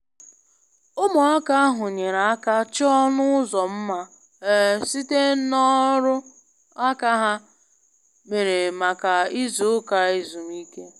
Ụmụaka ahụ nyere aka chọọ ọnụ ụzọ mma um site n'ọrụ aka ha mere maka izu ụka ezumike.